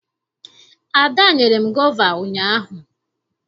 Ada nyere m gova ụnyaahụ.